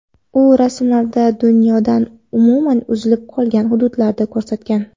U rasmlarida dunyodan umuman uzilib qolgan hududlarni ko‘rsatgan.